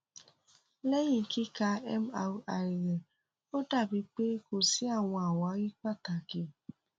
lẹhin kika mri rẹ o dabi pe ko si awọn awari pataki